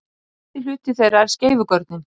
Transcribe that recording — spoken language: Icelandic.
Efsti hluti þeirra er skeifugörnin.